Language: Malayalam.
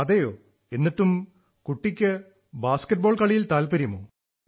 അതെയോ എന്നിട്ടും കുട്ടിക്ക് കളിയിൽ താത്പര്യമോ